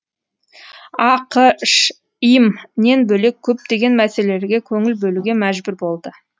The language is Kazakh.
ақш им нен бөлек көптеген мәселелерге көңіл бөлуге мәжбүр болды